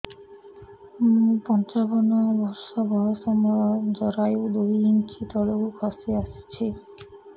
ମୁଁ ପଞ୍ଚାବନ ବର୍ଷ ବୟସ ମୋର ଜରାୟୁ ଦୁଇ ଇଞ୍ଚ ତଳକୁ ଖସି ଆସିଛି